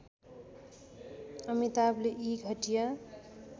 अमिताभले यी घटिया